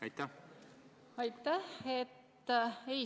Aitäh!